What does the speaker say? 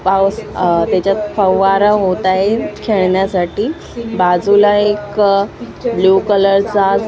पाऊस त्याच्यात फव्वारा होतात खेळण्यासाठी बाजूला एक ब्ल्यू कलर चा--